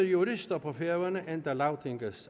jurister på færøerne endda lagtingets